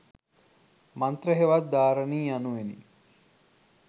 මන්ත්‍ර හෙවත් ධාරණී යනුවෙනි.